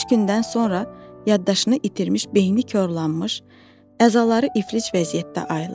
Üç gündən sonra yaddaşını itirmiş, beyni korlanmış, əzaları iflic vəziyyətdə ayılır.